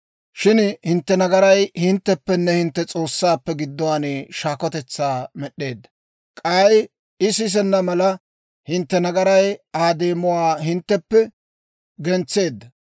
Shin hintte nagaray hintteppenne hintte S'oossaappe gidduwaan shaakotetsaa med'd'eedda. K'ay I sisenna mala, hintte nagaray Aa deemuwaa hintteppe gentseedda.